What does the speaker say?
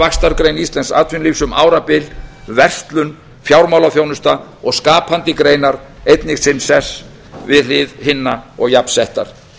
vaxtargrein íslensks atvinnulífs um árabil verslun fjármálaþjónusta og skapandi greinar einnig sinn sess við hlið hinna og jafnsettar